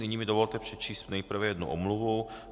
Nyní mi dovolte přečíst nejprve jednu omluvu.